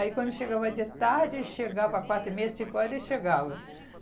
Aí quando chegava de tarde, chegava a quatro, meia, cinco horas ele chegava.